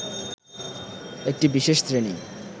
একটি বিশেষ শ্রেণী